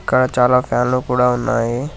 ఇక్కడ చాలా ఫ్యాన్లు కూడా ఉన్నాయి.